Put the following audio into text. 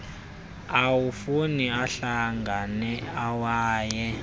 amafu ahlangana ewayi